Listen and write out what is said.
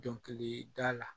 Dɔnkilida la